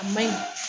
A ma ɲi